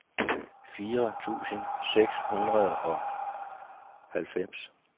fire tusind seks hundrede og halvfems